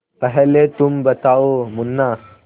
पहले तुम बताओ मुन्ना